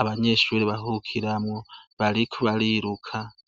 abanyeshure baruhukiramwo bariko bariruka.